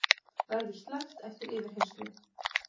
Verður sleppt eftir yfirheyrslu